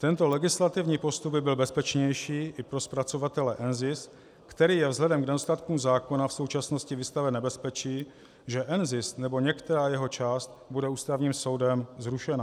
Tento legislativní postup by byl bezpečnější i pro zpracovatele NZIS, který je vzhledem k nedostatkům zákona v současnosti vystaven nebezpečí, že NZIS nebo některá jeho část bude Ústavním soudem zrušena.